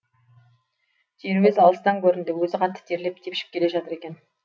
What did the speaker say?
теруес алыстан көрінді өзі қатты терлеп тепшіп келе жатыр екен